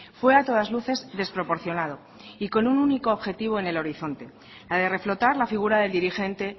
fue a todas luces desproporcionado y con un único objetivo en el horizonte la de reflotar la figura del dirigente